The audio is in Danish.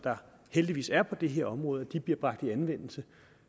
heldigvis er på det her område bliver bragt i anvendelse